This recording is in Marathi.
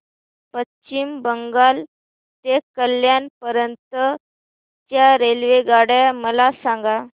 पश्चिम बंगाल ते कल्याण पर्यंत च्या रेल्वेगाड्या मला सांगा